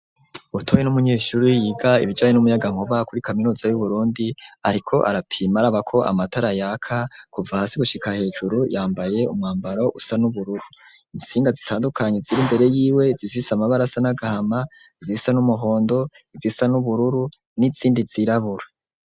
Butoyi ni umunyeshuri yiga ibijanye n'umuyagankuba kuri kaminuza y'Uburundi, ariko arapima araba ko amatara yaka kuva hasi gushika hejuru, yambaye umwambaro usa n'ubururu. Intsinga zitandukanye ziri imbere yiwe zifise amabara asa n'agahama, izisa n'umuhondo, izisa n'ubururu n'izindi zirabura.